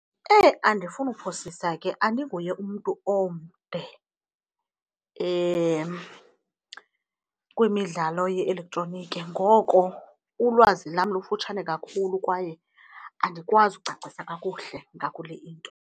Eh, andifuni kuphosisa ke! Andinguye umntu omde kwimidlalo ye-elektroniki, ngoko ulwazi lam lufutshane kakhulu kwaye andikwazi ukucacisa kakuhle ngakule into.